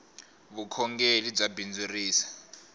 vukhongeli bya bindzurisa